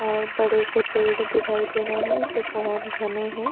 और बडे से पेड़ दिखाई दे रहे है जो बहुत घने है।